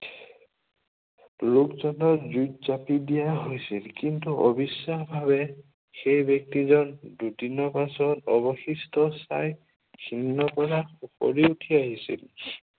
লোকজনক জুইত জাপি দিয়া হৈছিল। কিন্তু অবিশ্বাসভাৱে সেই ব্য়ক্তিজন দুদিনৰ পাছত অৱশিষ্ট ছাই ভিন্ন কোণত উফৰি উঠি আহিছিল।